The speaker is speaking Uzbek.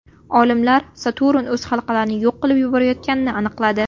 Olimlar Saturn o‘z halqalarini yo‘q qilib yuborayotganini aniqladi.